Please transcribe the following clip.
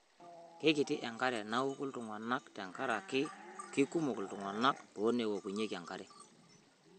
Keikiti enkare nauku iltung'ana tenkaraki keikumok iltung'ana too neokunye enkare